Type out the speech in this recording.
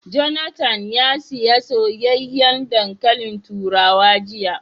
Jonathan ya siya soyayyen dankalin turawa jiya